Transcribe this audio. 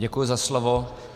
Děkuji za slovo.